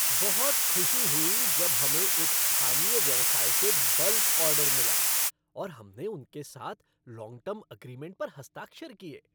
बहुत खुशी हुई जब हमें एक स्थानीय व्यवसाय से बल्क ऑर्डर मिला और हमने उनके साथ लॉन्ग टर्म अग्रीमेंट पर हस्ताक्षर किए।